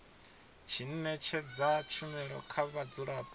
tshi ṅetshedza tshumelo kha vhadzulapo